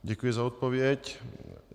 Děkuji za odpověď.